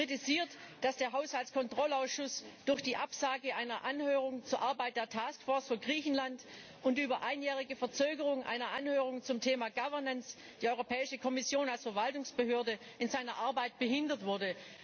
Er kritisiert, dass der Haushaltskontrollausschuss durch die Absage einer Anhörung zur Arbeit der Task Force für Griechenland und die über einjährige Verzögerung einer Anhörung zum Thema Governance die Europäische Kommission als Verwaltungsbehörde in seiner Arbeit behindert wurde.